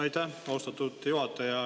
Aitäh, austatud juhataja!